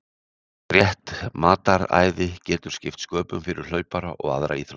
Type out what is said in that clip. Rétt mataræði getur skipt sköpum fyrir hlaupara og aðra íþróttamenn.